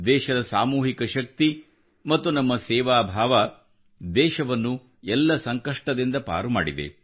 ದೇಶದ ಸಾಮೂಹಿಕ ಶಕ್ತಿ ಮತ್ತು ನಮ್ಮ ಸೇವಾಭಾವ ದೇಶವನ್ನು ಎಲ್ಲ ಸಂಕಷ್ಟದಿಂದ ಪಾರು ಮಾಡಿದೆ